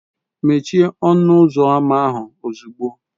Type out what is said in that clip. Mechie ọnụ ụzọ ámá ahụ ozugbo!